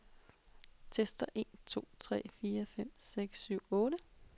Tester en to tre fire fem seks syv otte.